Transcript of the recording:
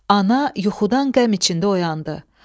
Ana yuxudan qəm içində oyandı.